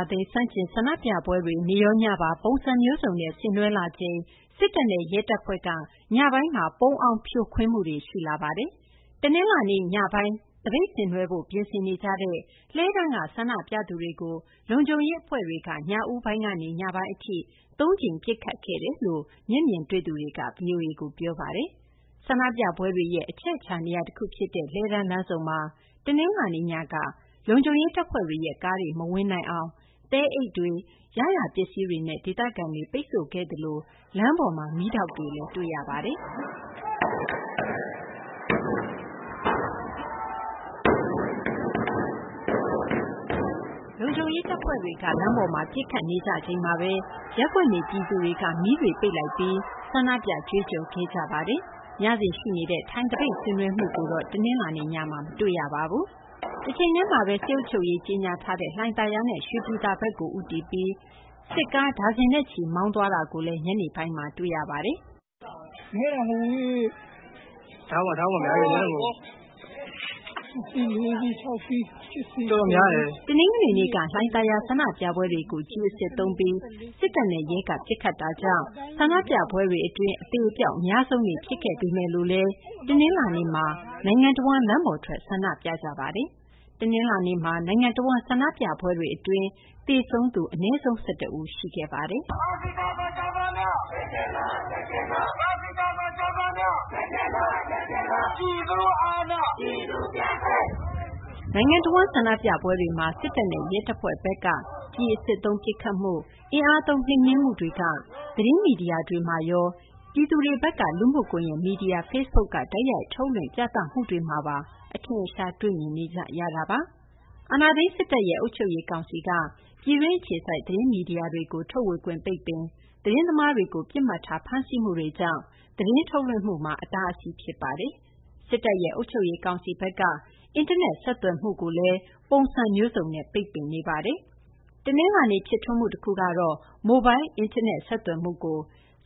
ာသိမ်း ဆန့်ကျင် ဆန္ဒပြပွဲတွေ နေ့ရော ညပါ ပုံစံမျိုးစုံနဲ့ ဆင်နွှဲလာချိန်မှာ စစ်တပ်နဲ့ ရဲတပ်ဖွဲ့က ညပိုင်းမှာ ပုန်းအောင်း ဖြိုခွင်းမှုတွေ ရှိလာနေပါတယ်။ တနလာၤနေ့ ညပိုင်း သပိတ်ဆင်းနွှဲဖို့ ပြင်ဆင်ကြတဲ့ လှည်းတန်းက ဆန္ဒပြသူတွေကို လုံခြုံရေး အဖွဲ့တွေက ညဦးပိုင်းကနေ ညပိုင်း အထိ သုံးကြိမ် ပစ်ခတ်ခဲ့တယ်လို့ မျက်မြင်တွေ့သူတွေက ဗွီအိုအေကို ပြောပါတယ်။ ဆန္ဒပြပွဲတွေရဲ့ အချက်အချာ နေရာ တခု ဖြစ်တဲ့ လှည်းတန်းလမ်းဆုံမှာ တနလာၤနေ့ ညက လုံခြုံရေး တပ်ဖွဲ့ တွေရဲ့ ကားတွေ မဝင်နိုင်အောင် သဲအိတ်တွေ ရရာ ပစ္စည်းတွေနဲ့ ဒေသခံတွေ ပိတ်ဆို့ခဲ့သလို လမ်းပေါ်မှာ မီးတောက်တွေလည်း တွေ့ရပါတယ်။ လုံခြုံရေး တပ်ဖွဲ့တွေက လမ်းပေါ်မှာ ပစ်ခတ်သံတွေကြားရချိန်မှာဘဲ ရပ်ကွက်နေ ပြည်သူတွေက မီးတွေ ပိတ်ပြီး ဆန္ဒပြ ကြွေးကြော်ခဲ့ကြပါတယ်။ ညစဉ် ရှိနေတဲ့ ထိုင်သပိတ် ဆင်နွှဲမှုကိုတော့ တနလာၤနေ့ ညမှာ မတွေ့ရပါဘူး။ တချိန်တည်းမှာဘဲ စစ်အုပ်ချုပ်ရေး ကြေညာထားတဲ့ လှိုင်သာယာနဲ့ ရွှေပြည်သာဘက်ကို ဦးတည်ပြီး စစ်ကား ဒါဇင်နဲ့ချီ မောင်းနှင်သွားတာကိုလည်း ညနေပိုင်းမှာ တွေ့ရပါတယ်။ “နည်းတာမဟုတ်ဘူး ကား ၆ စီး ၊၇ စီး ၊၁၀ စီး၊ တော်တော်များတယ်။” တနင်္ဂနွေနေ့က လှိုင်သာယာက ဆန္ဒပြပွဲတွေကို ကျည်အစစ်သုံးပြီး စစ်တပ်နဲ့ ရဲက ပစ်ခတ်တာကြောင့် ဆန္ဒပြပွဲတွေ အတွင်း အသေအပျောက် အများဆုံးနေ့ ဖြစ်ခဲ့ပေမယ့်လည်း တနလာၤနေ့မှာ နိုင်ငံတဝန်း လမ်းပေါ်ထွက် ဆန္ဒပြခဲ့ကြပါတယ်။ တနလာၤနေ့မှာ နိုင်ငံတဝန်း ဆန္ဒပြပွဲတွေ အတွင်း သေဆုံးရသူ ၁၁ ဦး ရှိခဲ့ပါတယ်။ နိုင်ငံတဝန်း ဆန္ဒပြပွဲတွေမှာ စစ်တပ်နဲ့ ရဲတပ်ဖွဲ့ဘက်က ကျည်အစစ်သုံး ပစ်ခတ်မှု၊ အင်အားသုံး နှိမ်နင်းမှုတွေက သတင်းမီဒီယာတွေမှာရော ပြည်သူတွေဘက်က လူမှု ကွန်ရက် မီဒီယာ Facebook က တိုက်ရိုက် ထုတ်လွှင့် ပြသမှုတွေ အထင်အရှားတွေ့မြင်နေကြရတာပါ။ အာဏာသိမ်း စစ်တပ်ရဲ့ အုပ်ချုပ်ရေး ကောင်စီက ပြည်တွင်း အခြေစိုက် သတင်းမီဒီယာတွေကို ထုတ်ဝေခွင့်ပိတ်ပင်၊ သတင်းသမားတွေကို ပစ်မှတ်ထား ဖမ်းဆီးမှုတွေကြောင့် သတင်းထုတ်လွှင့်မှုမှာ အတားအဆီး ဖြစ်ခဲ့ပါတယ်။ စစ်တပ်ရဲ့ အုပ်ချုပ်ရေး ကောင်စီဘက်ကတော့ အင်တာနက် ဆက်သွယ်မှုကိုလည်း ပုံစံမျိုးစုံနဲ့ ပိတ်ပင်ခဲ့ပါတယ်။ တနလာၤနေ့ ဖြစ်ထွန်းမှု တခုကတော့ မိုလ်ဘိုင်း အင်တာနက် ဆက်သွယ်မှုကို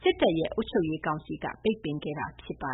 စစ်တပ် အုပ်ချုပ်ရေးကောင်စီက ပိတ်ပင်ခဲ့တာပါ